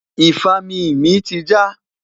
ifami mí ti ja